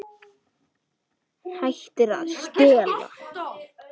Hættir að stela.